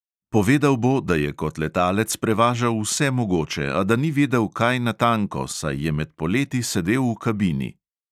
Povedal bo, da je kot letalec prevažal vse mogoče, a da ni vedel kaj natanko, saj je med poleti sedel v kabini.